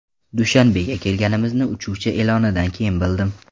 Dushanbega kelganimizni uchuvchi e’lonidan keyin bildim.